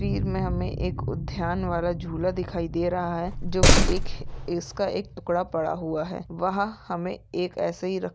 तस्वीर में हमें एक उद्यान वाला झुला दिखाई दे रहा है जो की एक इसका एक टुकड़ा पड़ा हुआ है वहां हमें एक इसे ही रख--